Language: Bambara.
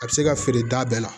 A bɛ se ka feere da bɛɛ la